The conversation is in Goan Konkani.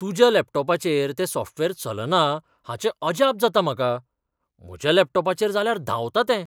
तुज्या लॅपटॉपाचेर तें सॉफ्टवेअर चलना हाचें अजाप जाता म्हाका. म्हज्या लॅपटॉपाचेर जाल्यार धांवता तें.